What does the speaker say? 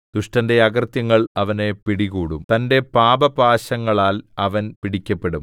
ദുഷ്ടന്റെ അകൃത്യങ്ങൾ അവനെ പിടികൂടും തന്റെ പാപപാശങ്ങളാൽ അവൻ പിടിക്കപെടും